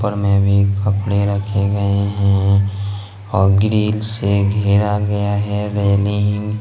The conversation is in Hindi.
कपड़े रखें गए हैं और ग्रिल से घेरा गया है रेलिंग --